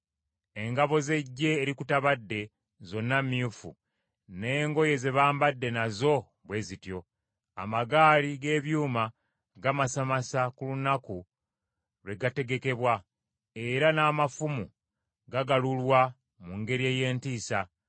Engabo z’eggye erikutabadde zonna myufu n’engoye ze bambadde nazo bwe zityo. Amagaali g’ebyuuma gamasamasa ku lunaku lwe gategekebwa, era n’amafumu gagalulwa mu ngeri ey’entiisa!